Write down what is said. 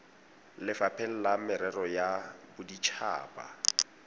lefapheng la merero ya bodit